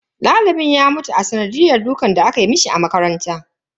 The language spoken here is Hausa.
Dalibin ya mutu a sanadiyan dukan da aka mishi a makaranta.